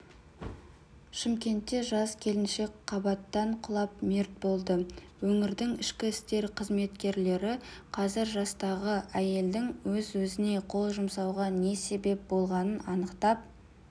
шымкентте жас келіншек қабаттан құлап мерт болды өңірдің ішкі істер қызметкерлері қазір жастағы әйелдің өз-өзіне қол жұмсауға не себеп болғанын анықтап